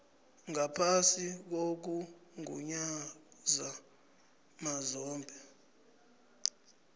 ngaphasi kokugunyaza mazombe